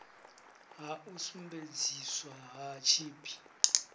ha u sumbedziswa ha tshipi